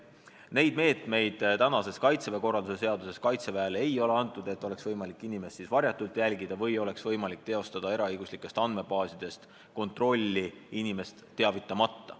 Neid õigusi praeguses Kaitseväe korralduse seaduses Kaitseväele antud ei ole, et oleks võimalik inimest varjatult jälgida või eraõiguslikes andmebaasides andmeid kontrollida inimest teavitamata.